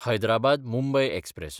हैदराबाद–मुंबय express